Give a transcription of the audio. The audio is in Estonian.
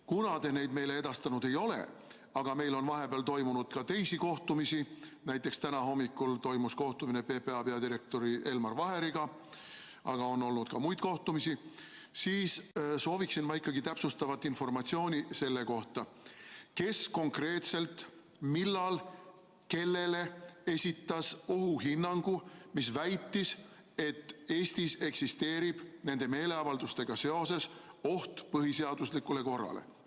Kuna te neid meile edastanud ei ole, aga meil on vahepeal toimunud ka teisi kohtumisi – näiteks täna hommikul toimus kohtumine PPA peadirektori Elmar Vaheriga, aga on olnud ka muid kohtumisi –, siis sooviksin ikkagi täpsustavat informatsiooni selle kohta, kes konkreetselt, millal ja kellele esitas ohuhinnangu, mis väitis, et Eestis eksisteerib nende meeleavaldustega seoses oht põhiseaduslikule korrale.